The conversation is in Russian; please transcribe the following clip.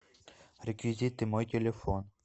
реквизиты мой телефон